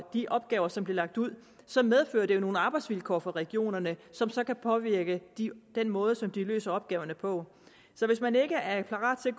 de opgaver som bliver lagt ud så medfører det jo nogle arbejdsvilkår for regionerne som så kan påvirke den måde som de løser opgaverne på så hvis man ikke er parat til at